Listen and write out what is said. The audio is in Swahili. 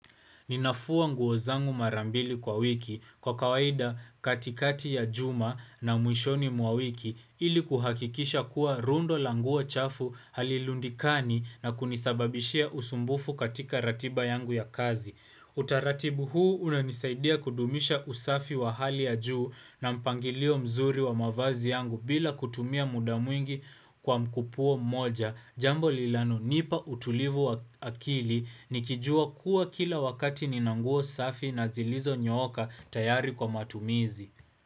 Ninafua nguo zangu mara mbili kwa wiki kwa kawaida katikati ya juma na mwishoni mwa wiki ili kuhakikisha kuwa rundo la nguo chafu halilundikani na kunisababishia usumbufu katika ratiba yangu ya kazi. Utaratibu huu unanisaidia kudumisha usafi wa hali ya juu na mpangilio mzuri wa mavazi yangu bila kutumia muda mwingi kwa mkupuo moja. Jambo linalo nipa utulivu wa akili nikijua kuwa kila wakati ninanguo safi na zilizo nyooka tayari kwa matumizi.